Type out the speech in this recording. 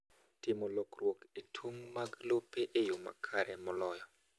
Timo lokruok e tong’ mag lope e yoo makare moloyo.